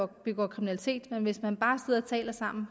begår kriminalitet men hvis man bare sidder og taler sammen